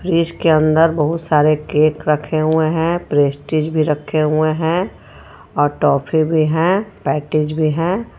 Fridge के अंदर बहुत सारे केक रखे हुए हे प्रेस्टीज भी रखे हुए हे और टॉफी भी हे पेटीज भी हे.